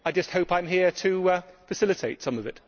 I just hope I am here to facilitate some of it.